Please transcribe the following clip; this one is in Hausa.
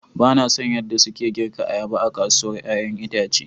Ba na son yadda suke girka ayaba a kasuwar 'ya'yan itace.